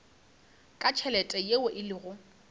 ka tšhelete yeo e lego